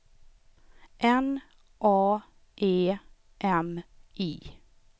N A E M I